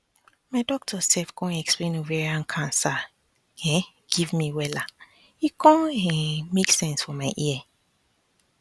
my doctor sef con explain ovarian cancer um give me wella e con um make sense for my ear